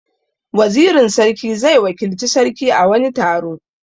Wazirin sarki zai wakilci sarki a wani taro.